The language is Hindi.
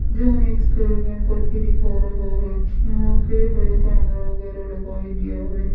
जो हमें एक्सपेरिमेंट करके दिखा रहा है। यहां के कैमरा वगैराह लगाई दिया हैं।